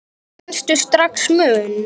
Fannstu strax mun?